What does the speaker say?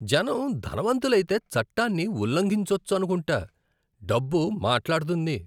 జనం ధనవంతులైతే చట్టాన్ని ఉల్లంఘించొచ్చనుకుంటా. డబ్బు మాట్లాడుతుంది!